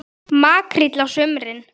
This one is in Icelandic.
Makríll á sumrin.